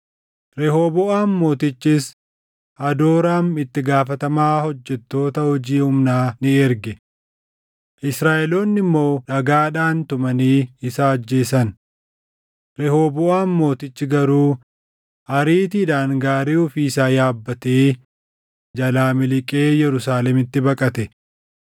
Rehooboʼaam mootichis Hadooraam itti gaafatamaa hojjettoota hojii humnaa ni erge; Israaʼeloonni immoo dhagaadhaan tumanii isa ajjeesan. Rehooboʼaam mootichi garuu ariitiidhaan gaarii ofii isaa yaabbatee jalaa miliqee Yerusaalemitti baqate.